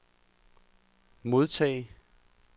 modtage